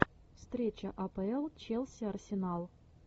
встреча апл челси арсенал